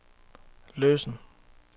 løsen